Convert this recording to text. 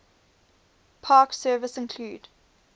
park service include